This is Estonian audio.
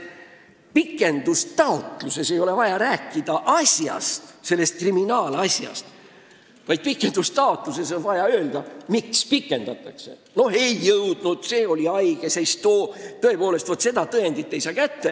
Pikendustaotluses ei ole vaja rääkida kriminaalasjast, vaid on vaja öelda, miks tähtaega pikendatakse: no ei ole valmis jõudnud, keegi oli haige, vaat seda tõendit ei saa tõepoolest kätte jne.